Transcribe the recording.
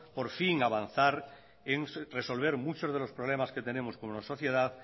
por fin avanzar en resolver muchos de los problemas que tenemos como sociedad